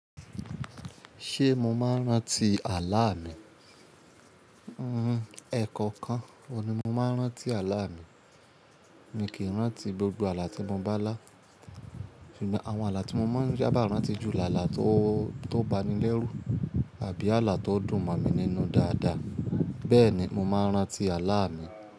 Ṣé mo máa ń rántí àlá mi? Hmm, ẹ̀kọ̀ọkan òun ni mo máa ń rántí àlá mi. Mi kì í rántí gbogbo àlá tí mo bá lá. Ṣùgbọ́n àwọn àlá tí mo máa ń ṣábà rántí ju làlá tó, tó bani lẹ́rù àbí àlá tó dùn mọ̀ mi nínú dáadáa. Bẹ́ẹ̀ ni mo máa ń rántí àlá mi.